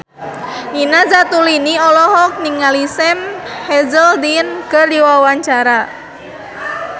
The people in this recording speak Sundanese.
Nina Zatulini olohok ningali Sam Hazeldine keur diwawancara